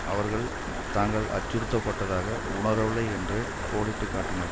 அவர்கள் தாங்கள் அச்சுறுத்தப்பட்டதாக உணரவில்லை என்று கோடிட்டு காட்டினர்